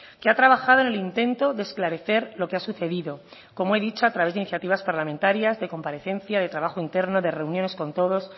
que ha trabajado en el intento de esclarecer lo que ha sucedido como he dicho a través de iniciativas parlamentarias de comparecencia de trabajo interno de reuniones con todos